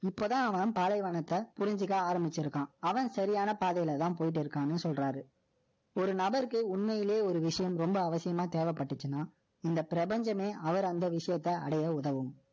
ஆனால், செய்ய வேண்டிய மற்ற விஷயங்கள் நிறைய இருக்கு. இப்பதான், அவன் பாலைவனத்தை, புரிஞ்சுக்க ஆரம்பிச்சிருக்கான். அவன் சரியான பாதையிலதான், போயிட்டு இருக்கான்னு சொல்றாரு. ஒரு நபருக்கு, உண்மையிலேயே ஒரு விஷயம், ரொம்ப அவசியமா தேவைப்பட்டுச்சுன்னா, இந்த பிரபஞ்சமே, அவர் அந்த விஷயத்த அடைய உதவும்